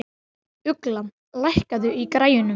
Ugla, lækkaðu í græjunum.